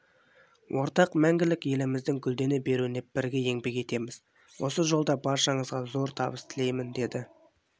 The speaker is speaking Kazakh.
ортақ мәңгілік еліміздің гүлдене беруіне бірге еңбек етеміз осы жолда баршаңызға зор табыс тілеймін деді